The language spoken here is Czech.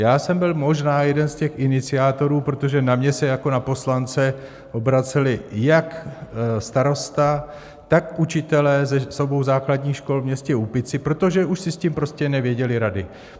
Já jsem byl možná jeden z těch iniciátorů, protože na mě se jako na poslance obraceli jak starosta, tak učitelé z obou základních škol ve městě Úpici, protože už si s tím prostě nevěděli rady.